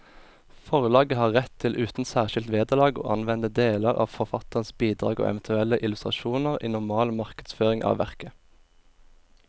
Forlaget har rett til uten særskilt vederlag å anvende deler av forfatterens bidrag og eventuelle illustrasjoner i normal markedsføring av verket.